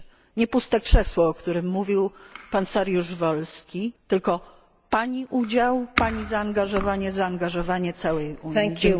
działanie. Nie puste krzesło, o którym mówił pan Saryusz Wolski, tylko Pani udział, Pani zaangażowanie i zaangażowanie całej Unii.